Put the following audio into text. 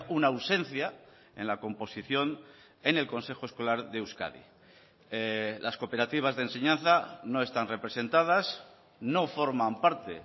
una ausencia en la composición en el consejo escolar de euskadi las cooperativas de enseñanza no están representadas no forman parte